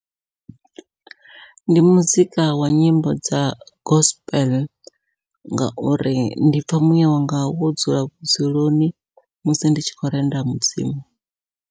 Ndi muzika wa nyimbo dza gospel ngauri ndi pfha muyawanga wo dzula vhudzuloni musi ndi tshi khou renda mudzimu.